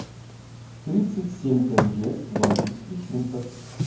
тридцать семь тенге в английских фунтах